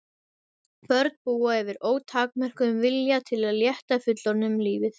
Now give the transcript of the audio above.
Börn búa yfir ótakmörkuðum vilja til að létta fullorðnum lífið.